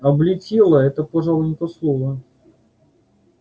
облетела это пожалуй не то слово